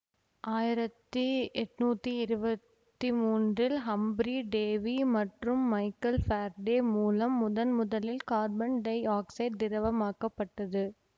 ஆயிரத்தி எட்ணூத்தி இருவத்தி மூன்றில் ஹம்ப்ரி டேவி மற்றும் மைக்கேல் ஃபாரடே மூலம் முதன்முதலில் கார்பன் டை ஆக்சைடு திரவமாக்கப்பட்டது